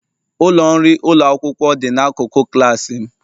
Ụlọ nri ụlọ akwụkwọ dị n'akụkụ klas m.